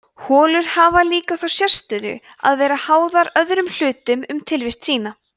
holur hafa líka þá sérstöðu að vera háðar öðrum hlutum um tilvist sína